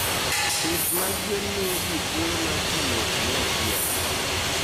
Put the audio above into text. Pith mag gwen miyo ji thuolo mar tiyo kanyachiel.